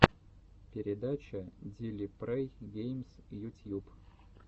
передача дили прэй геймс ютьюб